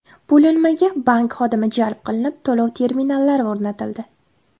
Bo‘linmaga bank xodimi jalb qilinib, to‘lov terminallari o‘rnatildi.